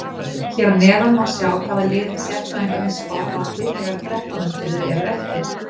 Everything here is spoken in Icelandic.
Hér að neðan má sjá hvaða liðum sérfræðingarnir spá falli þegar þrettán umferðir eru eftir.